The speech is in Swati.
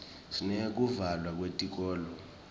sineyekuvalwa kwetikolo